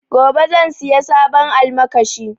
Gobe zan siya sabon almakashi